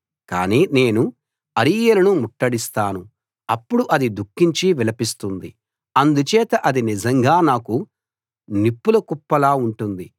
కానీ నేను అరీయేలును ముట్టడిస్తాను అప్పుడు అది దుఃఖించి విలపిస్తుంది అందుచేత అది నిజంగా నాకు నిప్పుల కుప్పలా ఉంటుంది